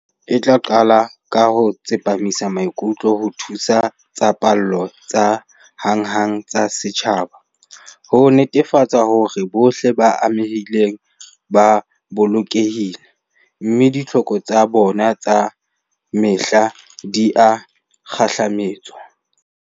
E tla qala ka ho tsepamisa maikutlo ho dithuso tsa phallelo tsa hanghang tsa setjhaba, ho netefatsa hore bohle ba amehileng o bolokehile, mme ditlhoko tsa bona tsa mantlha di a kgahlametswa.